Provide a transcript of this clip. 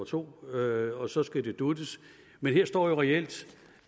to og og så skal det dutes men her står der jo reelt